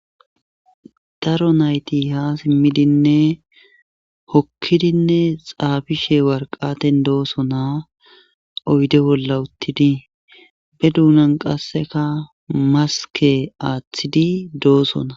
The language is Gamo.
daro nayti ha simmidinne hokkidinne xaabishe warqaten dooso naa oyde bolla uttidi be duunan qasseka maske aaththidi doosona